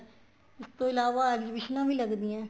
ਇਸ ਤੋਂ ਇਲਾਵਾ exhibition ਵੀ ਲੱਗਦੀਆਂ ਨੇ